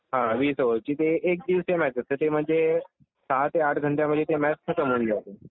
हा वीस ओवरची. एक दिवाशीची असते. ते म्हणजे सहा ते आठ घंटे मधे ते मॅच खतम होऊन जाते.